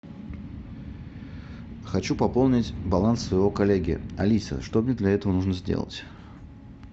хочу пополнить баланс своего коллеги алиса что мне для этого нужно сделать